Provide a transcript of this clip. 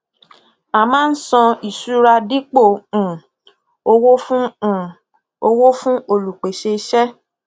a máa san ìṣura dípò um owó fún um owó fún olùpèsè iṣẹ